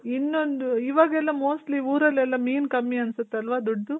ಇನ್ನೊಂದು ಇವಾಗೆಲ್ಲ mostly ಊರಲೆಲ್ಲಾ ಮೀನ್ ಕಮ್ಮಿ ಅನ್ಸುತ್ತಲ್ವ ದೊಡ್ಡದು.